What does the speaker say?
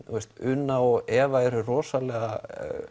Una og Eva eru rosalega